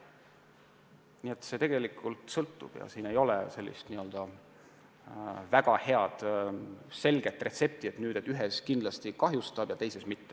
Nii et see kõik tegelikult sõltub ja siin ei ole väga head selget retsepti, et ühte kindlasti kahjustab ja teist mitte.